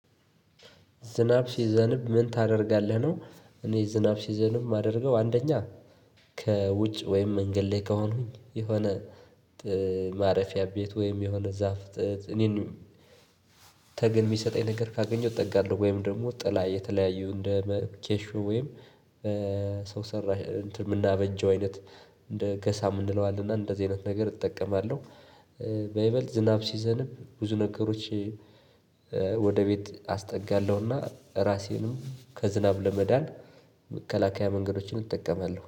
ዝናብ ሲዘንብ ምን ታደርጋለህ? ነው እኔ ዝናብ ሲዘንብ የማደርገው አንደኛ ከውጭ ወይም መንገድ ላይ ከሆንኩኝ የሆነ ማረፊያ ቤት ወይም የሆነ ዛፍ እኔን ተገን የሚሰጠኝ ነገር ካገኘሁ እጠጋለሁ ወይም ደግሞ ጥላ የተለያዩ እንደ ኬሹ ወይም ሰው ሰራሽ እንትን የምናበጀው አይነት እንደ ገሳም እንለዋለን እና እንደዚህ አይነት ነገር እጠቀማለሁ። በይበልጥ ዝናብ ሲዘንብ ብዙ ነገሮች ወደ ቤት አስጠጋለሁና ራሴንም ከዝናብ ለመዳን መከላከያ መንገዶችን እጠቀማለሁ